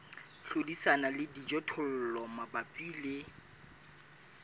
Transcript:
hlodisana le dijothollo mabapi le